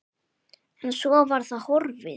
En svo var það horfið.